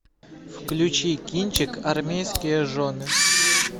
включи кинчик армейские жены